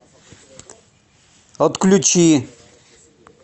отключи